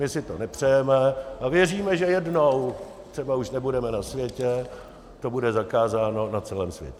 My si to nepřejeme a věříme, že jednou, třeba už nebudeme na světě, to bude zakázáno na celém světě.